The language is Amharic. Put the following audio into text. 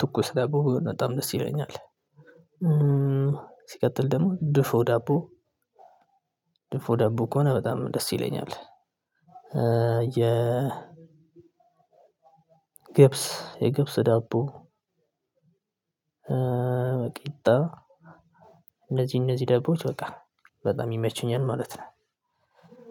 ትኩስ ዳቦ በጣም ደስ ይለኛል። ሲቀጥል ደግሞ ድፎ ዳቦ ድፎ ዳቦ ከሆነ በጣም ደስ ይለኛል። የ ገብስ የገብስ ዳቦ እንደዚህ እንደዚህ ዳቦዎች በቃ በጣም ይመቹኛል ማለት ነው።